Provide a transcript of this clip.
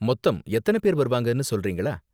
மொத்தம் எத்தன பேர் வருவாங்கனு சொல்றீங்களா?